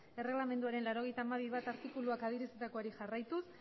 erregelamenduaren laurogeita hamabi puntu bat artikuluak adierazitakoari jarraituz